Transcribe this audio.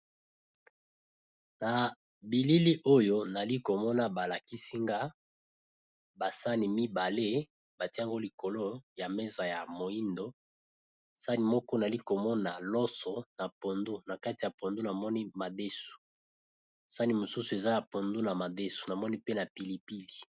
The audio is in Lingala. Na bilili oyo nali komona ba lakisi nga ba sani mibale batie ngo likolo ya meza ya moyindo sani moko nali komona loso na pondu, kati ya pondu namoni madesu sani mosusu eza ya pondu na madesu namoni pe na pili pili.